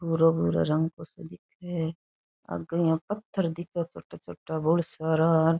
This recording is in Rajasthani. भूरो भूरो रंग सा दिखे है आगे यहाँ पत्थर दिखे छोटो छोटो भोळा सारा।